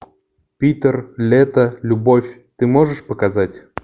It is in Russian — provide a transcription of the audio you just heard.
питер лето любовь ты можешь показать